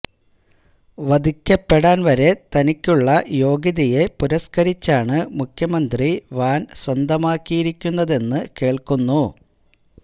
വധിക്കപ്പെടാന് വരെ തനിക്കുള്ള യോഗ്യതയെ പുരസ്കരിച്ചാണ് മുഖ്യമന്ത്രി വാന് സ്വന്തമാക്കിയിരിക്കുന്നതെന്ന് കേള്ക്കുന്നു